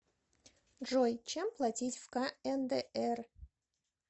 джой чем платить в кндр